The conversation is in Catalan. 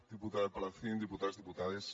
diputada palacín diputats diputades